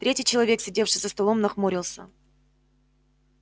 третий человек сидевший за столом нахмурился